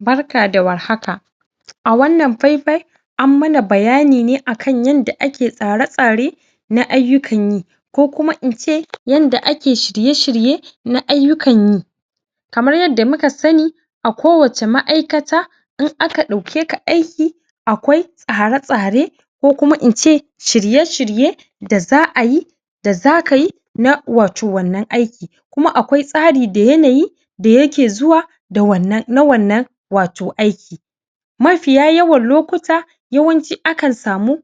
Barka da warhaka a wannan fai-fai an mana bayani ne akan yadda ake tsare- tsare na ayyukan yi ko kuma ince kokuma ince yadda ake shire-shirye na ayyukan yi kamar yadda muka sani a kowace ma'aykata in aka daukeka ayki akwai tsare-tsare kokuma ince shirye-shirye da za ayi da za ka yi na wato wannan ayki kuma akwai tsari da yanayi da yake zuwa wannan, na wannan wato ayki ma fiya yawan lokuta yawanci akan samu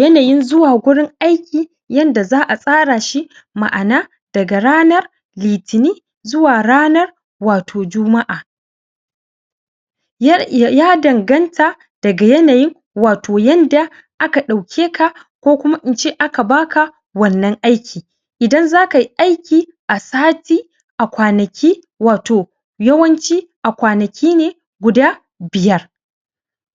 yana yin zuwa wurin ayji yanda za a tsara shi ma'ana daga ranan litinin zuwa ranan wato juma'a ya danganta daga yana yin wato yadda aka daukeka kokuma ince aka baka wannan ayki idan za kayi ayki a sati q kwanaki wato yawanci a kwanaki ne guda biyar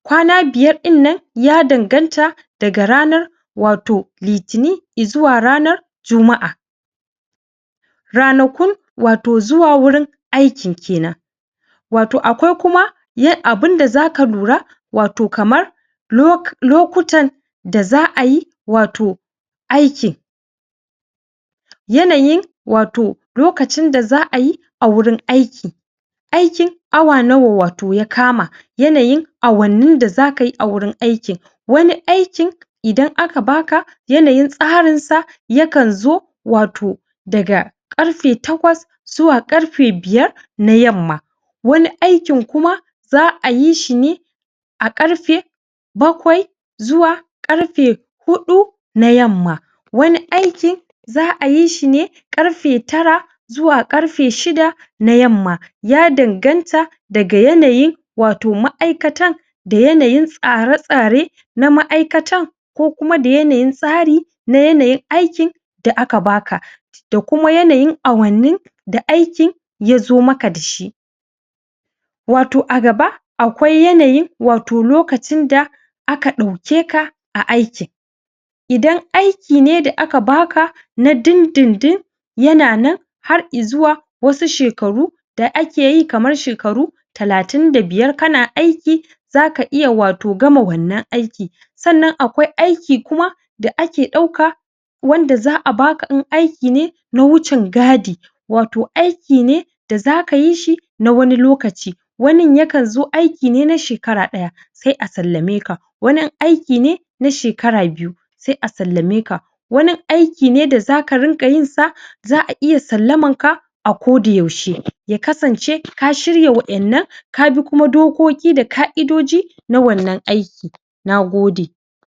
kwana biyar dinnan ya danganta daga ranan wato litinin i zuwa ranan juma'a ranaku wato zuwa wurin aykin kenan wayo akwai kuma abin da za ka lura wato kamar lokutan da za ayi wato aykin yana yin wato lokacin da za ayi a wurin ayki aykin awa nawa wato ya kama yanayin awannin da za kayi a wurin aykin wani aykin idan aka baka yana yin tsarin sa yakan zo wato daga karfe yakwas zuwa karfe biyar na yamma wani aykin kuma za ayi shi ne a karfe bakwai zuwa karfe hudu na yamma wani aykin za ayi shi ne karfe tara zuwa karfe shida na na yamma ya danganta daga yanayin wato ma'aykatan da yanayin tsare-stare na ma'aykatan ko da yanayin tsari na yanayin aykin da aka baka da kuma yana yin awannin da aykin ya zo maka da shi wato a gaba akwai yana yin wato lokacin da aka daukeka a aykin idan ayki ne da aka baka na din-din-din yana nan har i zuwa wasu shekaru da akeyi kamar shekaru talatin da biyar kana ayki zaka iya gama wannan ayki sannan akwai ayki kuma da ake dauka wanda za a baka in ayki ne na wucin gadi wato ayki ne da za ka yi shi na wani lokaci wanin yakan zo ayki ne na shekara daya sai a sallamai ka wani ayki ne aiki ne na shekara biyu sai a salla mai ka wani ayki ne da za ka rinka yin sa za a iya sallaman ka a koda yaushe ya kasance ka shirya wa'yannan kabi dokoki da ka'idoji na wannan ayki na gode